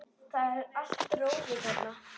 Það er allt rófið þarna.